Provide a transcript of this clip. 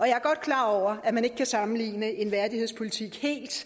jeg er godt klar over at man ikke helt kan sammenligne en værdighedspolitik